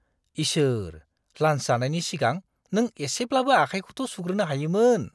इसोर ! लान्स जानायनि सिगां नों एसेब्लाबो आखाइखौथ' सुग्रोनो हायोमोन।